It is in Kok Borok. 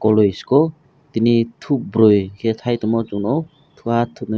kuluisiko tini thopbwrwi khe thaitongmo chung nukgo thuathupnwi.